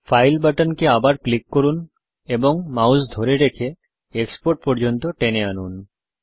file বাটনকে আবার click করুন এবং মাউস ধরে রেখে এক্সপোর্ট পর্যন্ত টেনে আনুন